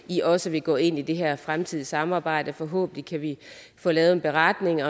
i også vil gå ind i det her fremtidige samarbejde forhåbentlig kan vi få lavet en beretning